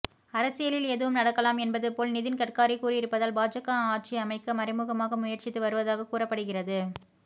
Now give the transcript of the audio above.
அரசியலில் எதுவும் நடக்கலாம் என்பது போல் நிதின் கட்காரி கூறியிருப்பதால் பாஜக ஆட்சி அமைக்க மறைமுகமாக முயற்சித்து வருவதாக கூறப்படுகிறது